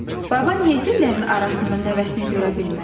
Baba niyə güllərin arasında nəvəsini görə bilmədi?